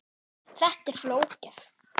Þetta er ekki flókið